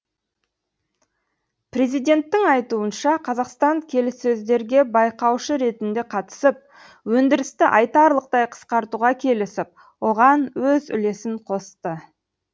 президенттің айтуынша қазақстан келіссөздерге байқаушы ретінде қатысып өндірісті айтарлықтай қысқартуға келісіп оған өз үлесін қосты